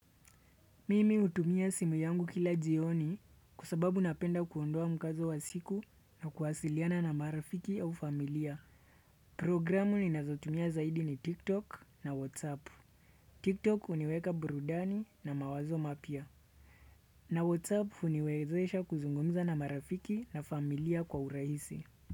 Mimi hutumia simu yangu kila jioni kwa sababu napenda kuondoa mkazo wa siku na kuwasiliana na marafiki au familia. Programu ninazotumia zaidi ni tiktok na whatsapp. Tiktok huniweka burudani na mawazo mapya. Na whatsapp huniwezesha kuzungumza na marafiki na familia kwa urahisi.